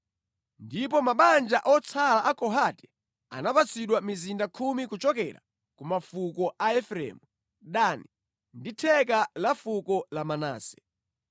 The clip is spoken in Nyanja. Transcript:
Ndipo mabanja otsala a Kohati anapatsidwa mizinda khumi kuchokera ku mafuko a Efereimu, Dani ndi theka la fuko la Manase.